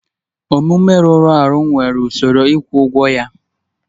Omume rụrụ arụ nwere usoro ịkwụ ụgwọ ya